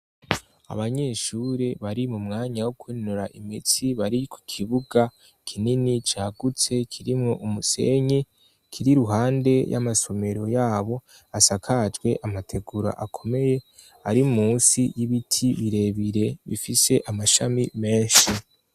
Abanyeshuri bari mu mwanya wo kwinonora imitsi bari ku kibuga kinini cagutse kirimwo umusenyi kiri iruhande y'amasomero yabo asakajwe amategura akomeye ari munsi y'ibiti birebire bifise amashami menshi.